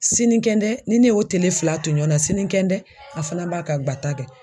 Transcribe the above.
Sinikɛndɛ ni ne y'o tele fila to ɲɔɔn na sinikɛndɛ a fana b'a ka guwata kɛ.